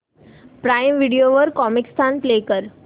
prime Video वर Comicstaan play कर